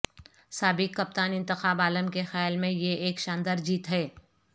سابق کپتان انتخاب عالم کے خیال میں یہ ایک شاندار جیت ہے